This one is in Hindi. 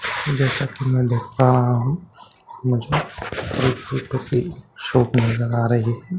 जैसा कि मैं देख पा रही हूं मुझे एक पेपर की शॉप नजर आ रही है जिसमें काफी --